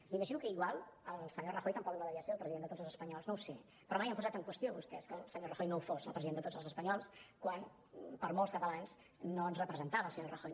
m’imagino que igual el senyor rajoy tampoc no devia ser el president de tots els espanyols no ho sé però mai han posat en qüestió vostès que el senyor rajoy no ho fos el president de tots els espanyols quan per molts catalans no ens representava el senyor rajoy